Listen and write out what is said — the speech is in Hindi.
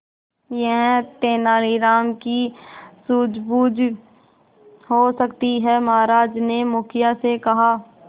यह तेनालीराम की सूझबूझ हो सकती है महाराज ने मुखिया से कहा